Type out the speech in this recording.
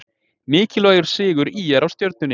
Mikilvægur sigur ÍR á Stjörnunni